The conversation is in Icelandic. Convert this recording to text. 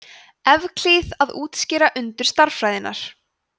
evklíð að útskýra undur stærðfræðinnar